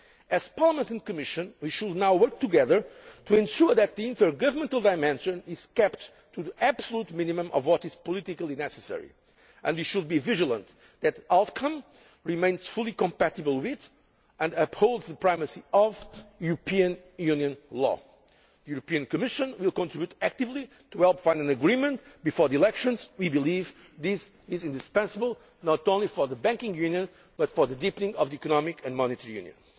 As Parliament and the Commission, we should now work together to ensure that the intergovernmental dimension is kept to the absolute minimum of what is politically necessary, and we should be vigilant in ensuring that the outcome remains fully compatible with, and upholds the primacy of, European Union law. The European Commission will contribute actively to finding an agreement before the elections, as we believe this is indispensable not only for the Banking Union but also for deepening economic and monetary union.